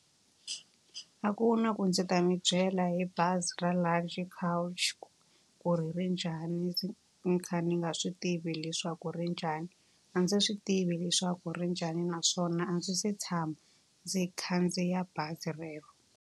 A ku na ku ndzi ta mi byela hi bazi ra Luxury Coach ku ri ri njhani ni kha ni nga swi tivi leswaku ri njhani. A ndzi swi tivi leswaku ri njhani naswona a ndzi se tshama ndzi khandziya bazi relero.